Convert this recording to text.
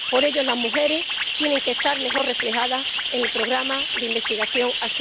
Por ello, las mujeres tienen que estar mejor reflejadas en el programa de investigación Horizonte